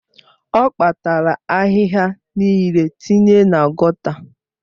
Ọ kpatara ahịhịa niile tinye na gọta